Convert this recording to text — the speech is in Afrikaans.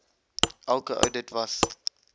elke oudit was